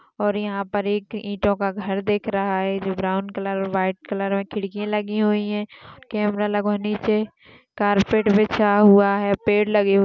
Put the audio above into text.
और यहा पर एक ईटोंका घर दिख रहा है। जो ब्राउन कलर व्हाइट कलर खिड़की लगे हुए है। कमेरा लगा हुआ है। नीचे कार्पेट बिछा हुआ है। पेड़ लगे हुए--